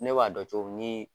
Ne b'a dɔn cogo min ni